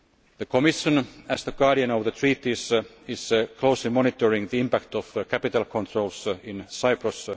The Commission, as the guardian of the Treaties, is closely monitoring the impact of capital controls in Cyprus.